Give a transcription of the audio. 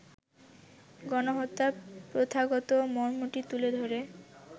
গণহত্যার প্রথাগত মর্মটি তুলে ধরে